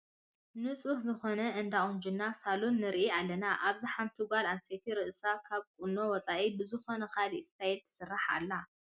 ንፁህ ዝኾነ እንዳ ቁንጅና ሳሎን ንርኢ ኣለና፡፡ ኣብዚ ሓንቲ ጓል ኣነስተይቲ ርእሳ ካብ ቁኖ ወፃኢ ብዝኾነ ካልእ ስታይል ትስራሕ ኣላ፡፡